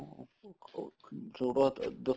ਉਹ ਛੋਟਾ ਤਾਂ ਦੱਸਾਂ